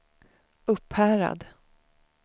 Upphärad